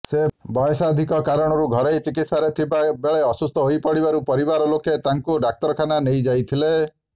ସେ ବୟସାଧିକ୍ୟ କାରଣରୁ ଘରୋଇ ଚିକିତ୍ସାରେ ଥିବା ବେଳେ ଅସୁସ୍ଥ ହୋଇପଡ଼ିବାରୁ ପରିବାରଲୋକେ ତାଙ୍କୁ ଡ଼ାକ୍ତରଖାନା ନେଇଯାଇଥିଲେ